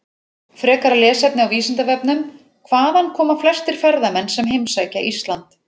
Frekara lesefni á Vísindavefnum: Hvaðan koma flestir ferðamenn sem heimsækja Ísland?